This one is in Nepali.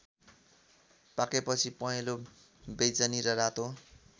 पाकेपछि पहेंलो वैजनी र रातो